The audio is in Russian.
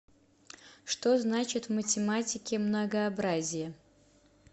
что значит в математике многообразие